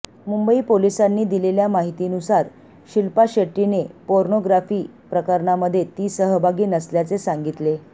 मुंबई पोलिसांनी दिलेल्या माहितीनुसार शिल्पा शेट्टीने पोर्नोग्राफी प्रकरणामध्ये ती सहभागी नसल्याचे सांगितले